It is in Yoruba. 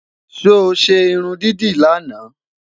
sọ ṣé irún dídì laana?